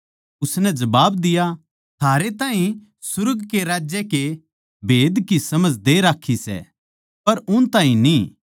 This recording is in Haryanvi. उसनै जबाब दिया थारै ताहीं सुर्ग के राज्य के भेद की समझ दे राक्खी सै पर उन ताहीं न्ही